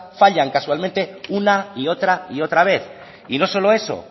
fallan casualmente una y otra y otra vez y no solo eso